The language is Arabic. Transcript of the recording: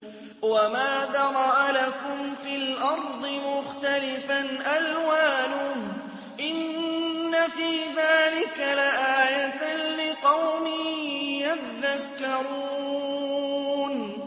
وَمَا ذَرَأَ لَكُمْ فِي الْأَرْضِ مُخْتَلِفًا أَلْوَانُهُ ۗ إِنَّ فِي ذَٰلِكَ لَآيَةً لِّقَوْمٍ يَذَّكَّرُونَ